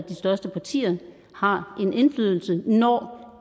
de største partier har en indflydelse når